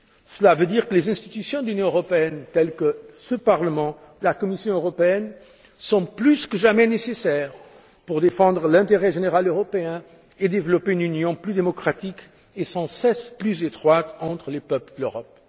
Cela signifie que les institutions de l'Union européenne, telles que ce Parlement et la Commission européenne, sont plus que jamais nécessaires pour défendre l'intérêt général européen et développer une union plus démocratique et sans cesse plus étroite entre les peuples de l'Europe.